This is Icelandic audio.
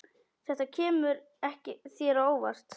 Þetta kemur þér á óvart.